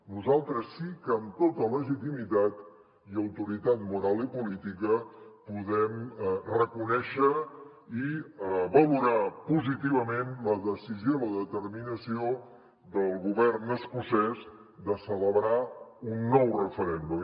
nosaltres sí que amb tota legitimitat i autoritat moral i política podem reconèixer i valorar positivament la decisió i la determinació del govern escocès de celebrar un nou referèndum